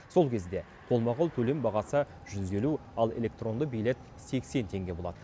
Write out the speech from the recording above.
сол кезде қолма қол төлем бағасы жүз елу ал электронды билет сексен теңге болады